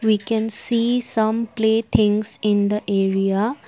We can see some play things in the area.